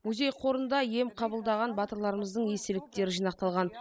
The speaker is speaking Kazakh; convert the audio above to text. музей қорында ем қабылдаған батырларымыздың естеліктері жинақталған